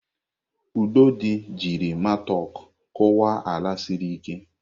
Udodi jiri matok kụwa ala siri ike.